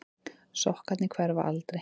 Sokkarnir hverfa aldrei.